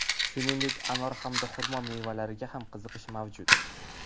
Shuningdek, anor hamda xurmo mevalariga ham qiziqish mavjud.